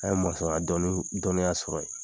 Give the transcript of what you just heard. An ye mɔnsɔnya dɔnni dɔnniya sɔrɔ ye.